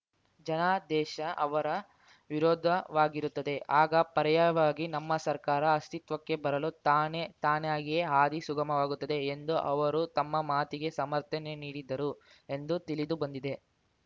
ಜನಾದೇಶ ಅವರ ವಿರುದ್ಧವಾಗಿರುತ್ತದೆ ಆಗ ಪರ್ಯಾಯವಾಗಿ ನಮ್ಮ ಸರ್ಕಾರ ಅಸ್ತಿತ್ವಕ್ಕೆ ಬರಲು ತಾನೇ ತಾನಾಗಿಯೇ ಹಾದಿ ಸುಗಮವಾಗುತ್ತದೆ ಎಂದು ಅವರು ತಮ್ಮ ಮಾತಿಗೆ ಸಮರ್ಥನೆ ನೀಡಿದರು ಎಂದು ತಿಳಿದು ಬಂದಿದೆ